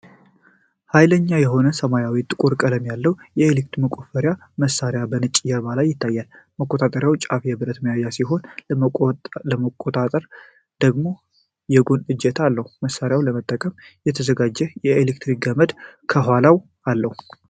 ኃይለኛ የሆነ ሰማያዊና ጥቁር ቀለም ያለው የኤሌክትሪክ መቆፈሪያ መሳሪያ በነጭ ጀርባ ላይ ይታያል። የመቆፈሪያው ጫፍ የብረት ቁፋሮ ሲሆን፣ ለመቆጣጠር ደግሞ የጎን እጀታ አለው። መሳሪያው ለመጠቀም የተዘጋጀና የኤሌክትሪክ ገመድም ከኋላው አለ።